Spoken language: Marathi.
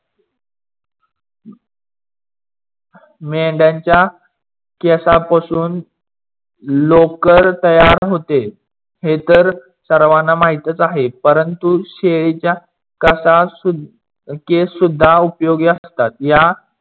मेंढयाच्या केसापासून लोकर तयार होते. हे तर सर्वांना माहीतच आहे. परंतु शेळीच्या केस सुद्धा उपयोगी असतात. या